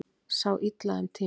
Sá illa um tíma